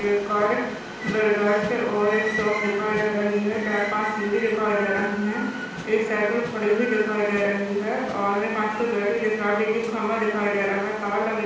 brothers और एक shop दिखाई दे रही है चार पांच सीढ़ी दिखाई दे रही है एक साईकल खड़ी हुई दिखाई दे रही है और कांच का गेट भी दिख रहा बिजली खंबा दिखाई दे रहा है तार लगे--